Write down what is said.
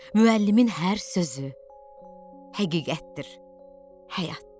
Müəllimin hər sözü həqiqətdir həyatda.